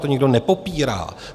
To nikdo nepopírá.